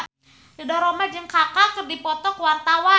Ridho Roma jeung Kaka keur dipoto ku wartawan